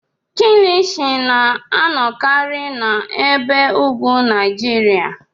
Kilichi na-anọkarị n'ebe ugwu Naijiria.